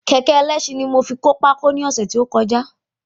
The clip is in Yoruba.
Kékẹ̀ ẹlẹ́sin ní mo fi kó pákó náà ní ọ̀sẹ̀ tí ó kọjá